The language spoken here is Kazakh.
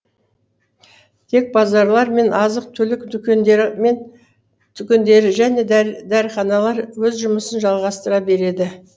тек базарлар мен азық түлік дүкендері және дәріханалар өз жұмысын жалғастыра береді